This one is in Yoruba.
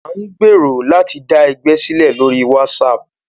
A ń gbèrò láti dá ẹgbẹ́ sílẹ̀ lóri WhatsApp.